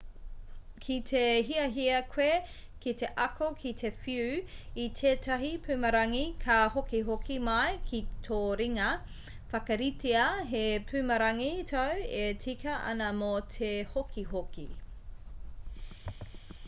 ki te hiahia koe ki te ako ki te whiu i tētahi pumarangi ka hokihoki mai ki tō ringa whakaritea he pumarangi tāu e tika ana mō te hokihoki